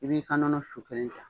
I b'i ka nɔnɔ sɔfelen